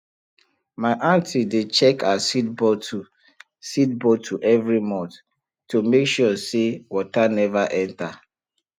my aunty dey check her seed bottle seed bottle every month to make sure say water never enter